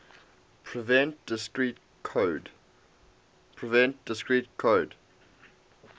prevent discrete code